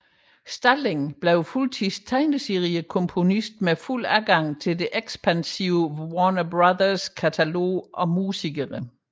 Stalling blev fuldtids tegneseriekomponist med fuld adgang til det ekspansive Warner Bros katalog og musikere